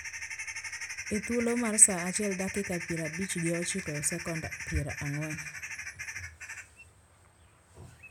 E thuolo mar sa achiel dakika pier abich gi ochiko gi second pier ang`wen